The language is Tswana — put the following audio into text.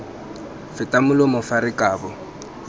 feta molomo fa re kabo